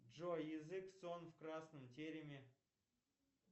джой язык сон в красном тереме